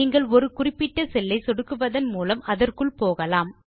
நீங்கள் ஒரு குறிப்பிட்ட செல் ஐ சொடுக்குவதன் மூலம் அதற்குள் போகலாம்